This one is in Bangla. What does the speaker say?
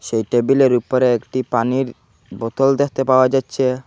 এই টেবিলের উপরে একটি পানির বোতল দেখতে পাওয়া যাচ্ছে।